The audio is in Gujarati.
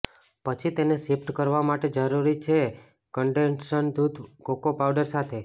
પછી તેને શિફ્ટ કરવા માટે જરૂરી છે કન્ડેન્સ્ડ દૂધ કોકો પાઉડર સાથે